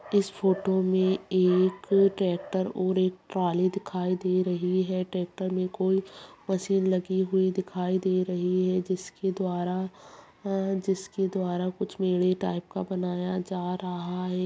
इस फोटो में एक ट्रैक्टर और एक ट्राली दिखाई दे रही है ट्रैक्टर में कोई मशीन लगी हुई दिखाई दे रही है जिसके द्वारा जिसके द्वारा कुछ मेडे टाइप का बनाया जा रहा है।